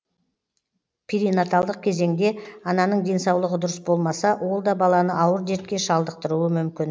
перинаталдық кезеңде ананың денсаулығы дұрыс болмаса ол да баланы ауыр дертке шалдықтыруы мүмкін